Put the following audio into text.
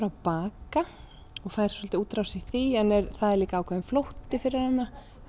að baka fær svolitla útrás í því en það er líka ákveðinn flótti fyrir hana